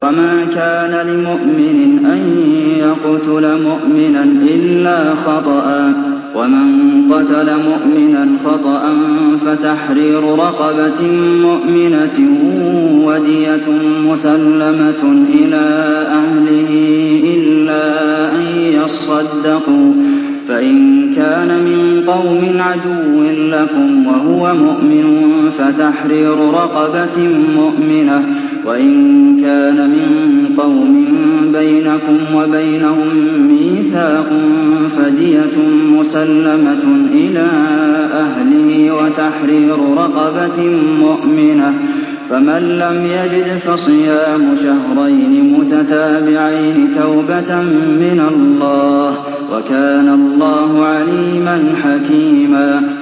وَمَا كَانَ لِمُؤْمِنٍ أَن يَقْتُلَ مُؤْمِنًا إِلَّا خَطَأً ۚ وَمَن قَتَلَ مُؤْمِنًا خَطَأً فَتَحْرِيرُ رَقَبَةٍ مُّؤْمِنَةٍ وَدِيَةٌ مُّسَلَّمَةٌ إِلَىٰ أَهْلِهِ إِلَّا أَن يَصَّدَّقُوا ۚ فَإِن كَانَ مِن قَوْمٍ عَدُوٍّ لَّكُمْ وَهُوَ مُؤْمِنٌ فَتَحْرِيرُ رَقَبَةٍ مُّؤْمِنَةٍ ۖ وَإِن كَانَ مِن قَوْمٍ بَيْنَكُمْ وَبَيْنَهُم مِّيثَاقٌ فَدِيَةٌ مُّسَلَّمَةٌ إِلَىٰ أَهْلِهِ وَتَحْرِيرُ رَقَبَةٍ مُّؤْمِنَةٍ ۖ فَمَن لَّمْ يَجِدْ فَصِيَامُ شَهْرَيْنِ مُتَتَابِعَيْنِ تَوْبَةً مِّنَ اللَّهِ ۗ وَكَانَ اللَّهُ عَلِيمًا حَكِيمًا